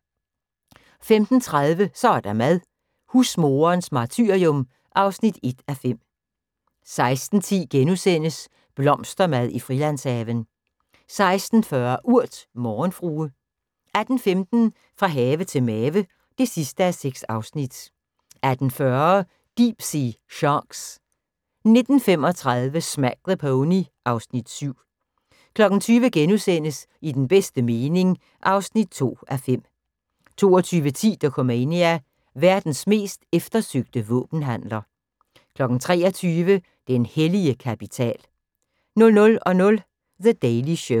15:30: Så er der mad - Husmoderens martyrium (1:5) 16:10: Blomstermad i Frilandshaven * 16:40: Urt: Morgenfrue 18:15: Fra have til mave (6:6) 18:40: Deep-sea Sharks 19:35: Smack the Pony (Afs. 7) 20:00: I den bedste mening (2:5)* 22:10: Dokumania: Verdens mest eftersøgte våbenhandler 23:00: Den hellige kapital 00:00: The Daily Show